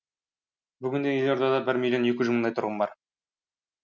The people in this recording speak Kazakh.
бүгінде елордада бір миллион екі жүз мыңдай тұрғын бар